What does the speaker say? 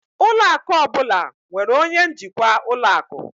Ụlọ akụ ọ bụla nwere onye njikwa ụlọ akụ.